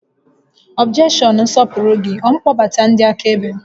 Ọbjekshọn nsọpụrụ gị, ọ mkpọbata ndị akaebe?